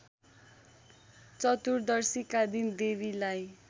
चतुर्दशीका दिन देवीलाई